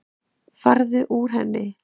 Farðu úr henni.